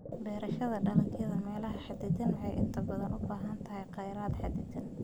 beerashada dalagyada meelaha xaddidan waxay inta badan u baahan tahay kheyraad xaddidan.